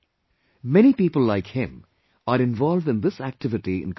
Many people like him are involved in this activity in Kashmir